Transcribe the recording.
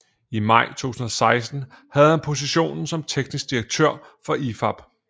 I maj 2016 havde han positionen som teknisk direktør for IFAB